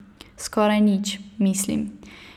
Skoraj nič, mislim.